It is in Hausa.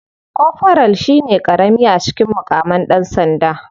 Koforal shine karami a cikin mukaman dan sanda.